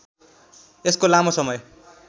यसको लामो समय